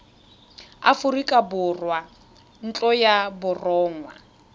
aforika borwa ntlo ya borongwa